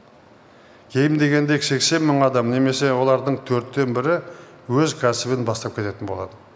кем дегенде сексен мың адам немесе олардың төрттен бірі өз кәсібін бастап кететін болады